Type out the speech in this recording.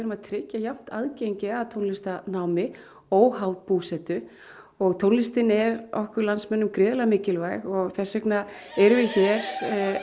að tryggja jafnt aðgengi að tónlistarnámi óháð búsetu og tónlistin er okkur landsmönnum gríðarlega mikilvæg þess vegna erum við hér